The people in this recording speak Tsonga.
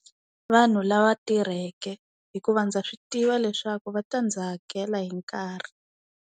Vanhu lava tirheke hikuva ndza swi tiva leswaku va ta ndzi hakela hi nkarhi.